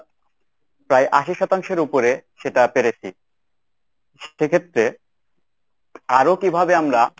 প্রায় আশি শতাংশের উপরে সেটা পেরেছি। সেক্ষেত্রে আরো কিভাবে আমরা